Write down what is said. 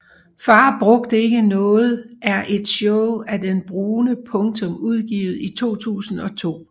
Far brugte ikke noget er et show af Det Brune Punktum udgivet i 2002